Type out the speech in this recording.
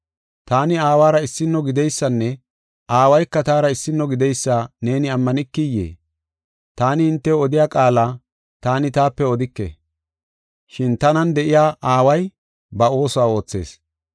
Taani Aawara issino gideysanne Aawayka taara issino gideysa neeni ammanikiyee? Taani hintew odiya qaala taani taape odike, shin tanan de7iya Aaway ba oosuwa oothees.